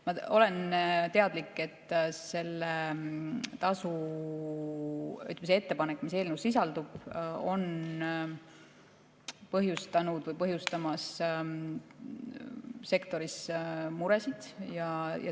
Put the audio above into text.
Ma olen teadlik, et selle tasu võtmise ettepanek, mis eelnõus sisaldub, on põhjustanud või põhjustamas sektoris muresid.